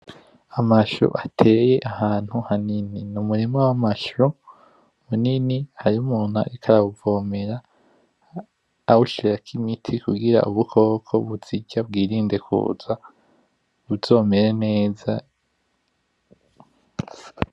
Amasho ateye ahantu hanini. N’umurima w’amasho munini hari umuntu ariko arawuvomera awushirako imiti kugirango ubukoko buzirya bwirinde kuza buzomere neza.